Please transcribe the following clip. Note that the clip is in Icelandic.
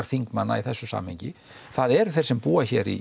þingmanna í þessu samhengi það eru þeir sem búa hér í